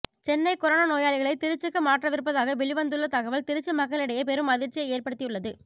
Chennai corona நோயாளிகளை திருச்சிக்கு மாற்றவிருப்பதாக வெளிவந்துள்ள தகவல் திருச்சி மக்களிடையே பெரும் அதிர்ச்சியை ஏற்படுத்தியுள்ளது